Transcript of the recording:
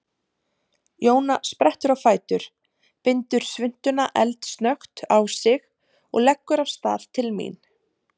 Jóna sprettur á fætur, bindur svuntuna eldsnöggt á sig og leggur af stað til mín.